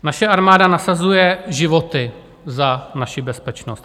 Naše armáda nasazuje životy za naši bezpečnost.